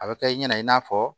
A bɛ kɛ i ɲɛna i n'a fɔ